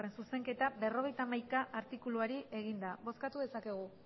zuzenketa berrogeita hamaika artikuluari eginda bozkatu dezakegu